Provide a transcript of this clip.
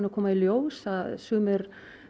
að koma í ljós að sumir